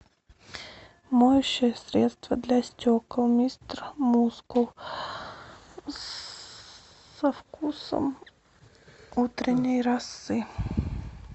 моющее средство для стекол мистер мускул со вкусом утренней росы